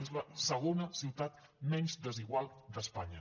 és la segona ciutat menys desigual d’espanya